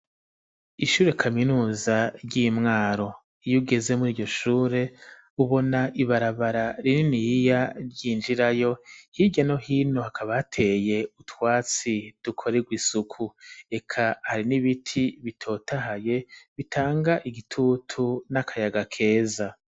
Ishure kaminuza ry'imwaro iyo ugeze muri iryo shure ubona ibarabara rininiya ry'injirayo hirya no hino hakaba ateye utwatsi dukoreye isuku eka hari n'ibiti bitotahaye bitanga igitutu n'akayaga keza.